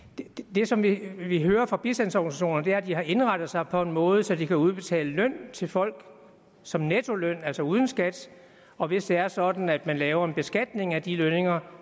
det som vi vi hører fra bistandsorganisationerne er at de har indrettet sig på en måde så de kan udbetale løn til folk som nettoløn altså uden skat og hvis det er sådan at man laver en beskatning af de lønninger